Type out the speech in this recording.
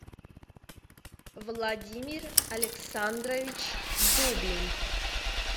владимир александрович дубин